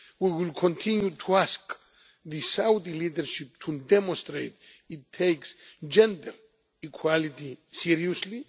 We will continue to ask the Saudi leadership to demonstrate that it takes gender equality seriously.